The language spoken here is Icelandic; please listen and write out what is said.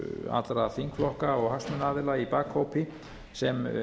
allra þingflokka og hagsmunaaðila í bakhópi sem